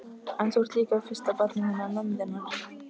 En þú ert líka fyrsta barnið hennar mömmu þinnar.